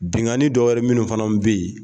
Binkanidɔ wɛrɛ minnu fana bɛ yen